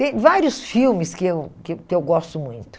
Tem vários filmes que eu que que eu gosto muito.